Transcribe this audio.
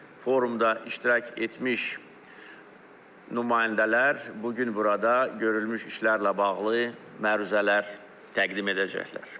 Forumda iştirak etmiş nümayəndələr bu gün burada görülmüş işlərlə bağlı məruzələr təqdim edəcəklər.